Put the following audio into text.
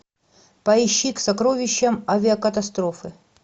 поищи к сокровищам авиакатастрофы